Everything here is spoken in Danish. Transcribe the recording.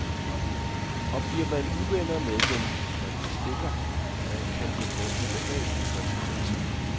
Og bliver man uvenner med dem, man bestikker, kan det få ubehagelige konsekvenser.